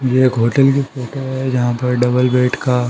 ये एक होटल की फोटो है जहां पर डबल बेड का---